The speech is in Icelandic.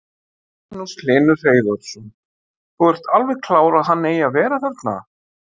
Magnús Hlynur Hreiðarsson: Þú ert alveg klár að hann eigi að vera þarna?